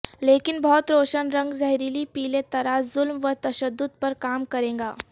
لیکن بہت روشن رنگ زہریلی پیلے طرح ظلم و تشدد پر کام کرے گا